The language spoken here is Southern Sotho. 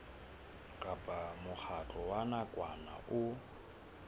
kapa mokgatlo wa nakwana o